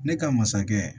Ne ka masakɛ